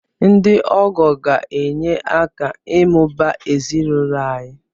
Ndị ọgọ ga-enye aka ịmụba ezinụlọ anyị